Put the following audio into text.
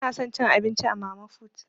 Bana son cin abinci a mama fut.